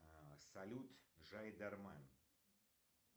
салют жайдарме